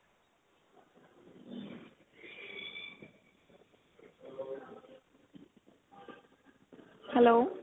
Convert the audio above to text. hello